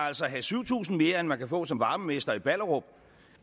have syv tusind kroner mere end man kan få som varmemester i ballerup